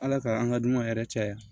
Ala ka an ka dunanw yɛrɛ caya